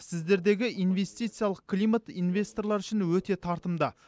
сіздердегі инвестициялық климат инвесторлар үшін өте тартымды